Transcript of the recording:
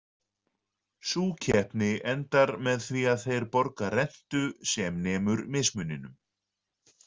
Sú keppni endar með því að þeir borga rentu sem nemur mismuninum.